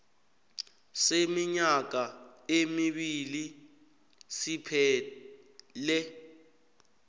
seminyaka emibili siphele